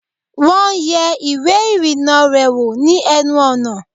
Wọ́n yẹ ìwẹ́ ìrìnnà rẹ̀ wò ni ẹnu ọ̀nà